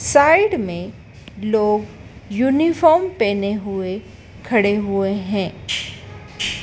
Side में लोग uniform पहने हुए खड़े हुए हैं।